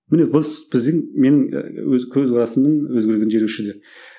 міне біздің менің ііі өз көзқарасымның өзгергені жері осы жерде